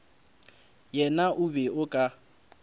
yena o be o ka